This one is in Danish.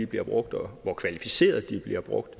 bliver brugt og hvor kvalificeret de bliver brugt